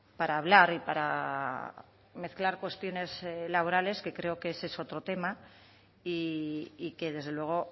para hablar y para mezclar cuestiones laborales que creo que ese es otro tema y que desde luego